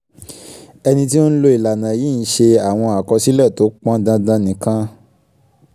ẹni tí ó ń lo ìlànà yìí ń ṣe àwọn àkọsílẹ̀ tó pọn dandan nìkan